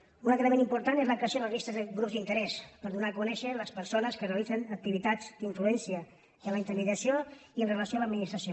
un altre element important és la creació de llistes de grups d’interès per donar a conèixer les persones que realitzen activitats d’influència en la intermediació i en relació amb l’administració